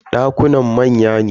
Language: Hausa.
Dakunan manya ne.